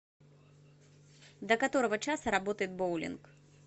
до которого часа работает боулинг